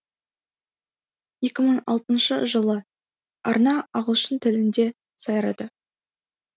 екі мың алтыншы жылы арна ағылшын тілінде сайрады